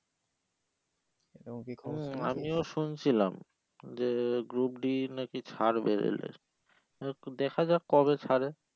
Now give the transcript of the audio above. হম আমিও শুনছিলাম যে group D নাকি ছাড়বে রেলের তো দেখা যাক কবে ছারে